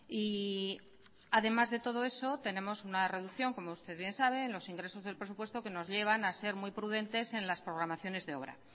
y además de todo eso tenemos una reducción como usted bien sabe en los ingresos del presupuesto que nos llevan a ser muy prudentes en las programaciones de obra